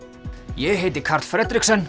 ég heiti Karl